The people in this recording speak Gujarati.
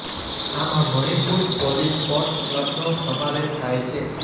આમાં મણિપુર પોલીસ સ્પૉર્ટ્સ ક્લબનો સમાવેશ થાય છે